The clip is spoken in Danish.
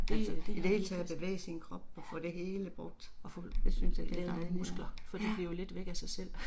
Altså i det hele taget at bevæge sin krop og få det hele brugt. Det synes jeg det er dejligt ja